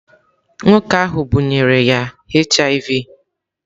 Nwoke ahụ bunyere ya HIV.